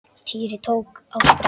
Týri tók á sprett.